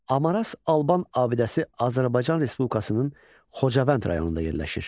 Amaras Alban abidəsi Azərbaycan Respublikasının Xocavənd rayonunda yerləşir.